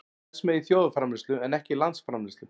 Það telst með í þjóðarframleiðslu en ekki landsframleiðslu.